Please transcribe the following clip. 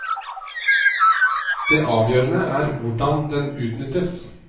Det avgjørende er hvordan den utnyttes.